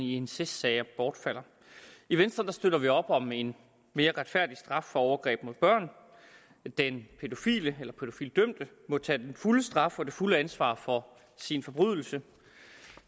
incestsager bortfalder i venstre støtter vi op om en mere retfærdig straf for overgreb mod børn den pædofile eller pædofilidømte må tage den fulde straf og det fulde ansvar for sin forbrydelse